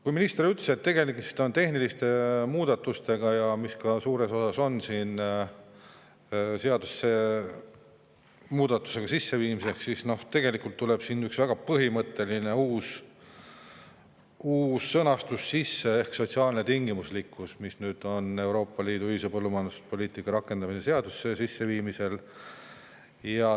Kuigi minister ütles, et tegemist on tehniliste muudatustega, mis seadusesse sisse viiakse, nagu suures osas ka on, siis tegelikult tuleb siin sisse üks väga põhimõtteline uus sõnastus ehk sotsiaalne tingimuslikkus, mis on Euroopa Liidu ühise põllumajanduspoliitika rakendamise seadusesse sisseviimisel.